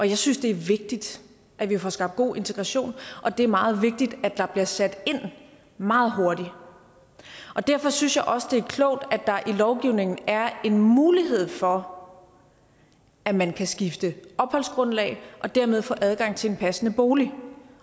jeg synes det er vigtigt at vi får skabt god integration og det er meget vigtigt at der bliver sat ind meget hurtigt derfor synes jeg også det er klogt at der i lovgivningen er en mulighed for at man kan skifte opholdsgrundlag og dermed få adgang til en passende bolig